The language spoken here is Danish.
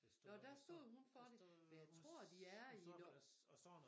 Nåh der stod hun for det men jeg tror de er i